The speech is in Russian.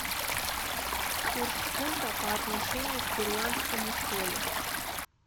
курс фунта по отношению к перуанскому солю